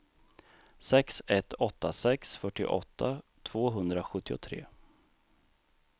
sex ett åtta sex fyrtioåtta tvåhundrasjuttiotre